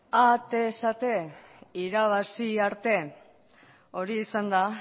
bai atez ate irabazi arte horixe izan da